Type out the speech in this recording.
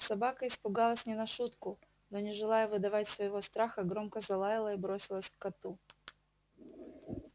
собака испугалась не на шутку но не желая выдавать своего страха громко залаяла и бросилась к коту